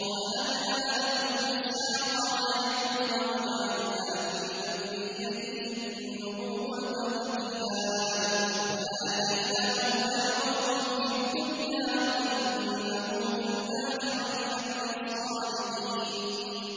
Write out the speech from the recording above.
وَوَهَبْنَا لَهُ إِسْحَاقَ وَيَعْقُوبَ وَجَعَلْنَا فِي ذُرِّيَّتِهِ النُّبُوَّةَ وَالْكِتَابَ وَآتَيْنَاهُ أَجْرَهُ فِي الدُّنْيَا ۖ وَإِنَّهُ فِي الْآخِرَةِ لَمِنَ الصَّالِحِينَ